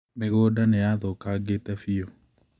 Mĩgũnda nĩ yathũkangĩte biũ.